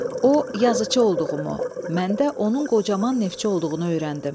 O, yazıcı olduğumu, mən də onun qocaman neftçi olduğunu öyrəndim.